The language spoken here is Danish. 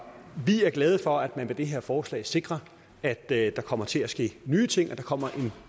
vi er glade for at det med det her forslag sikres at der kommer til at ske nye ting og at der kommer en